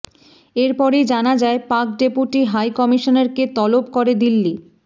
এরপরেই জানা যায় পাক ডেপুটি হাই কমিশনারকে তলব করে দিল্লি